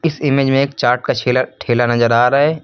Image में एक चार्ट का सेलर ठेला नजर आ रहा है।